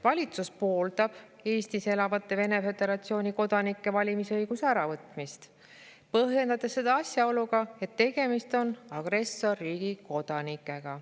Valitsus pooldab Eestis elavate Vene Föderatsiooni kodanike valimisõiguse äravõtmist, põhjendades seda asjaoluga, et tegemist on agressorriigi kodanikega.